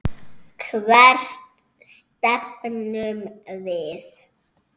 Hvert stefnum við?